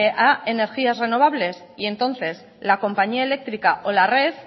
a energías renovables y entonces la compañía eléctrica o la red